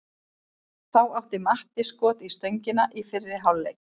Þá átti Matti skot í stöngina í fyrri hálfleik.